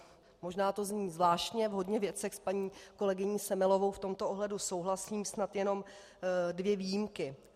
Možná to zní zvláštně, v hodně věcech s paní kolegyní Semelovou v tomto ohledu souhlasím, snad jenom dvě výjimky.